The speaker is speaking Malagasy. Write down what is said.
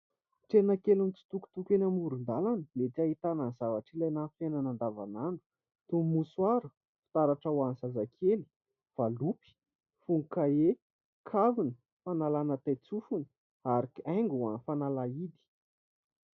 Tsena kely mitsitokotoko eny amoron-dalana mety ahitana ny zavatra ilaina amin'ny fiainana andavanandro toy : ny mosoara, fitaratra ho an'ny zazakely, valopy, fono-kahie, kavina, fanalana tain-tsofina ary haigo ho an'ny fanalahidy.